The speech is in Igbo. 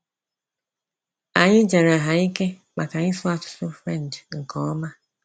Anyị jara ha ike maka ịsụ asụsụ French nke ọma.